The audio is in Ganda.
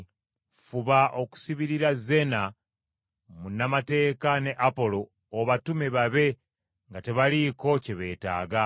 Fuba okusibirira Zeena munnamateeka ne Apolo obatume babe nga tebaliiko kye beetaaga.